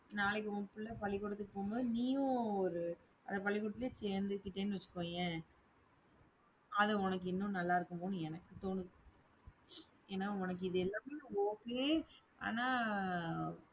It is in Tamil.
நாளைக்கு உன் பிள்ளை பள்ளிக்கூடத்துக்கு போகும்போது, நீயும் ஒரு அந்த பள்ளிக்கூடத்திலேயே சேர்ந்துக்கிட்டேன்னு வச்சுக்கோயேன் அது உனக்கு இன்னும் நல்லா இருக்குமோன்னு எனக்கு தோணுது. ஏன்னா உனக்கு இது எல்லாமே okay ஆனா